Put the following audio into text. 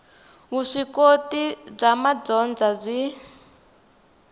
vuswikoti bya madyondza byi